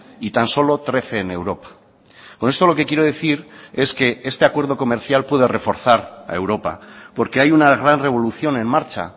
y tan solo trece en europa con esto lo que quiero decir es que este acuerdo comercial puede reforzar a europa porque hay una gran revolución en marcha